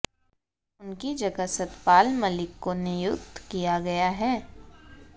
उनकी जगह सतपाल मलिक को नियुक्त किया गया है